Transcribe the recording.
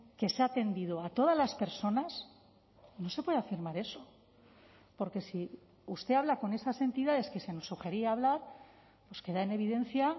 que se ha atendido a todas las personas no se puede afirmar eso porque si usted habla con esas entidades que se nos sugería hablar pues queda en evidencia